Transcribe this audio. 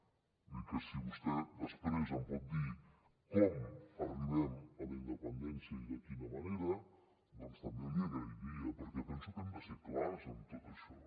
vull dir que si vostè després em pot dir com arribem a la independència i de quina manera doncs també l’hi agrairia perquè penso que hem de ser clars en tot això